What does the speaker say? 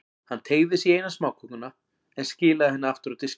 Hann teygði sig í eina smákökuna, en skilaði henni aftur á diskinn.